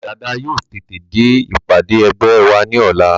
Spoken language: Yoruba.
Dàda yóò tètè dé ìpàdé ẹgbẹ́ wa ní ọ̀la